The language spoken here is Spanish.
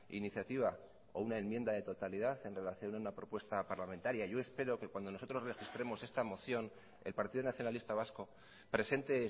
iniciativa o una enmienda de totalidad en relación a una propuesta parlamentaria yo espero que cuando nosotros registremos esta moción el partido nacionalista vasco presente